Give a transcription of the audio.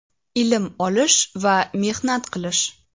ilm olish va mehnat qilish.